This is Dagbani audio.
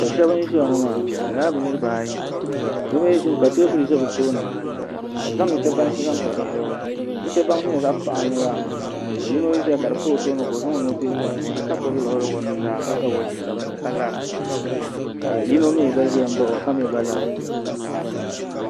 Do shɛba n ziya ŋɔ maa bi yɛla bi niriba ayi ka tɛɛbuli zɛ bi tooni ka bi zaŋ nuchɛ bansi n zaŋ pa dizuɣu nuchɛ baŋ di ni yɛ zaɣi paɣinli maa ka zɛya ka di pa o tooni ka o zaŋ o nuu n dihiri di puuni ka gbubi liɣiri o nuu zaa ka ga wɔchi sabinli ka lara ka yino gba mi gba zɛ n baɣi o ka mi gba lara.